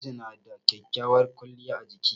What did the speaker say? Ɗawisu na da kyakkyawar kwaliya a jiki.